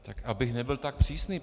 Tak abych nebyl tak přísný.